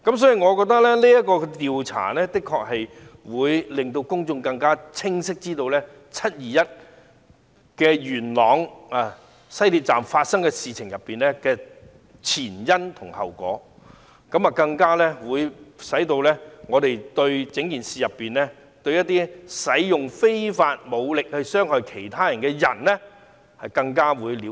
所以，我認為進行調查可以讓公眾更清晰地知道，在元朗西鐵站發生的"七二一"事件的前因後果，讓我們對事件中使用非法武力傷害他人的人士有更多了解。